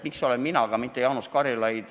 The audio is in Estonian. Miks olen siin mina ja mitte Jaanus Karilaid?